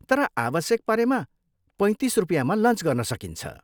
तर आवश्यक परेमा पैँतिस रुपियाँमा लन्च गर्न सकिन्छ।